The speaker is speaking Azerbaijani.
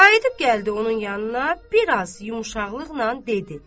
Qayıdıb gəldi onun yanına, biraz yumşaqlıqla dedi.